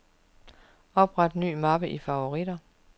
Opret ny mappe i favoritter.